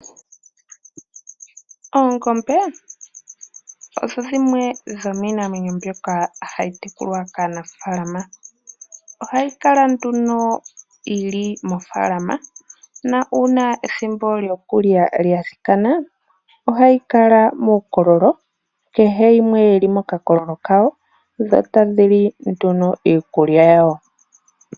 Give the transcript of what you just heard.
Oongombe odho dhimwe dhominamwenyo mbyoka hayitekulwa kaanafalama, ohayikala nduno yili mofalama na una ethimbo lyokulya lyadhikana ohadhikala mukololo kehe yimwe yili mokakololo kayo dho tadhili nduno iikulya yawo.